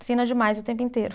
Ensina demais o tempo inteiro.